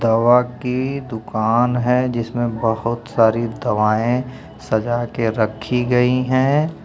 दवा कि दुकान है जिसमें बहोत सारी दवाएं सजा के रखी गई हैं।